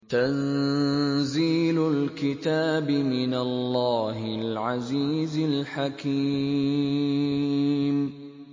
تَنزِيلُ الْكِتَابِ مِنَ اللَّهِ الْعَزِيزِ الْحَكِيمِ